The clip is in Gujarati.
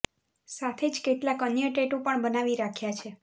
સાથે જ કેટલાક અન્ય ટેટૂ પણ બનાવી રાખ્યા છે